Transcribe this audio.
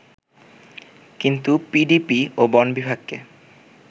কিন্তু পিডিপি ও বন বিভাগকে